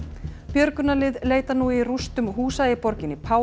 björgunarlið leita nú í rústum húsa í borginni